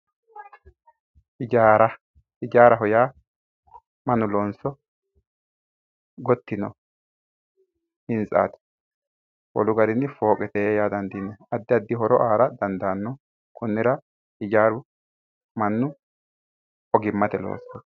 ijaara ijaaraho yaa mannu loonso gotti yino hintsaati wolu garinni fooqete yaa dandiinanni addi addi horo aara dandaanno konnira ijaaru mannu ogimmatenni loosooti.